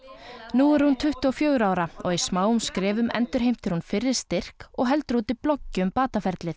nú er hún tuttugu og fjögurra ára og í smáum skrefum endurheimtir hún fyrri styrk og heldur úti bloggi um